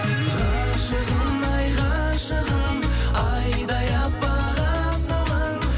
ғашығым ай ғашығым айдай аппақ асылым